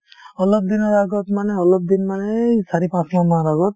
অলপদিনৰ আগত মানে অলপদিনমানে এই চাৰি-পাঁচমাহমান আগত